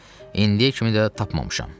İndiyə kimi də tapmamışam.